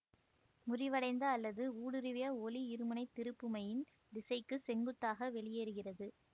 முறிவடைந்த அல்லது ஊடுருவிய ஒளி இருமுனை திருப்புமையின் திசைக்கு செங்குத்தாக வெளியேறுகிறது